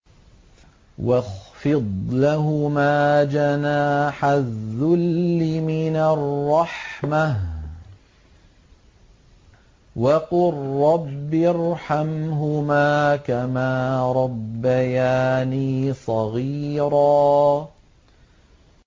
وَاخْفِضْ لَهُمَا جَنَاحَ الذُّلِّ مِنَ الرَّحْمَةِ وَقُل رَّبِّ ارْحَمْهُمَا كَمَا رَبَّيَانِي صَغِيرًا